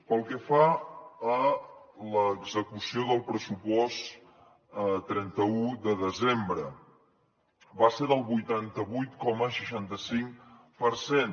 pel que fa a l’execució del pressupost a trenta un de desembre va ser del vuitanta vuit coma seixanta cinc per cent